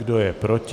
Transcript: Kdo je proti?